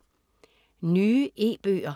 Nye e-bøger